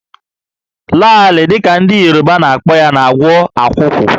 Laalị dị ka ndị Yoruba na-akpọ ya na-agwọ akwụkwụ